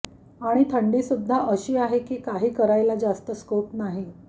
आणि थंडीसुद्धा अशी आहे की काही करायला जास्त स्कोप नाही